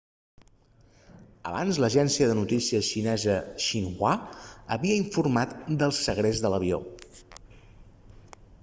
abans l'agència de notícies xinesa xinhua havia informat del segrest de l'avió